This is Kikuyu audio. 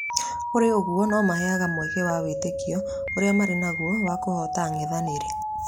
Kũrĩ ũguo nomeheaga mweke wa wĩtĩkio ũrĩa marĩ naguo wa kũhota ang’ethanĩri